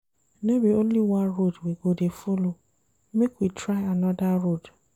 No be only one road we go dey folo, make we try anoda road.